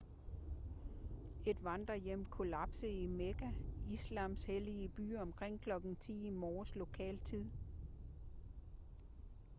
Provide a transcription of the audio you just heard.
et vandrehjem kollapsede i mekka islams hellige by omkring kl. 10 i morges lokal tid